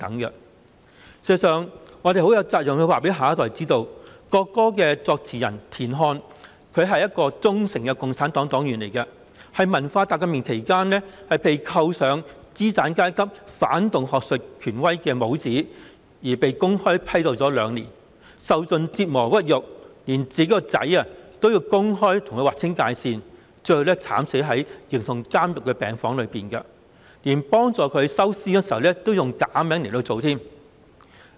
事實上，我們有責任告訴下一代，國歌的作詞人田漢是一名忠誠的共產黨黨員，但在文化大革命期間，他被扣上資產階級、反動學術權威的帽子，因而被公開批鬥了兩年，受盡折磨屈辱，連他的兒子也公開與他劃清界線，最後他更慘死在形同監獄的病房內，連替他收屍時，也要用假名來處理。